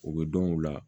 U bɛ dɔn u la